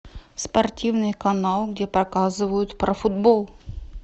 спортивный канал где показывают про футбол